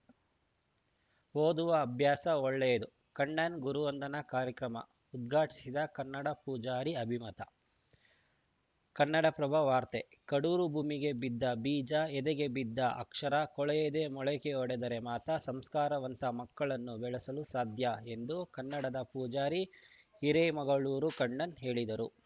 ಓದುವ ಅಭ್ಯಾಸ ಒಳ್ಳೆಯದು ಕಣ್ಣನ್‌ ಗುರುವಂದನಾ ಕಾರ್ಯಕ್ರಮ ಉದ್ಘಾಟಿಸಿದ ಕನ್ನಡ ಪೂಜಾರಿ ಅಭಿಮತ ಕನ್ನಡಪ್ರಭ ವಾರ್ತೆ ಕಡೂರು ಭೂಮಿಗೆ ಬಿದ್ದ ಬೀಜ ಎದೆಗೆ ಬಿದ್ದ ಅಕ್ಷರ ಕೊಳೆಯದೇ ಮೊಳಕೆಯೊಡೆದರೆ ಮಾತ್ರ ಸಂಸ್ಕಾರವಂತ ಮಕ್ಕಳನ್ನು ಬೆಳೆಸಲು ಸಾಧ್ಯ ಎಂದು ಕನ್ನಡದ ಪೂಜಾರಿ ಹಿರೇಮಗಳೂರು ಕಣ್ಣನ್‌ ಹೇಳಿದರು